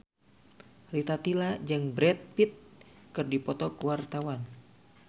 Rita Tila jeung Brad Pitt keur dipoto ku wartawan